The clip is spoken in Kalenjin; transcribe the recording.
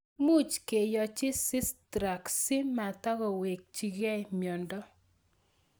Much keyochi Sistrunk si matakowekechikei miondo